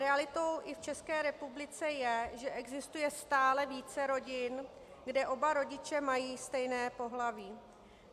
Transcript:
Realitou i v České republice je, že existuje stále více rodin, kde oba rodiče mají stejné pohlaví.